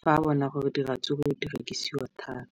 fa a bona gore diratsuru di rekisiwa thata.